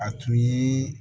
A tun ye